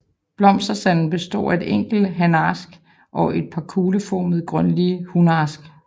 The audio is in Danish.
Blomsterstanden består af et enkelt hanaks og et par kugleformede grønlige hunaks